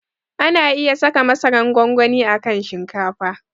Ana iya saka masaran gwangwani a kan shinkafa.